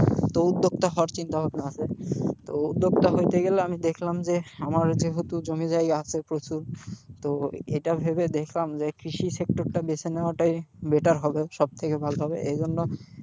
তো উদ্যোক্তা হওয়ার চিন্তা ভাবনা আছে, তো উদ্যোক্তা হতে গেলে আমি দেখলাম যে আমার যেহেতু জমি জায়গা আছে প্রচুর তো এটা ভেবে দেখলাম যে কৃষিক্ষেত্রটা বেছে নেওয়াটাই better হবে সবথেকে ভালো হবে, এইজন্য,